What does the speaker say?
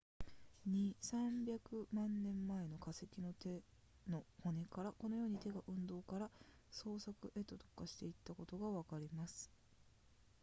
200～300 万年前の化石の手の骨からこのように手が運動から操作へと特化していたことがわかります